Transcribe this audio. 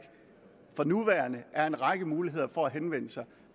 for nuværende er en række muligheder for at henvende sig